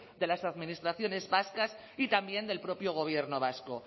de las administraciones vascas y también del propio gobierno vasco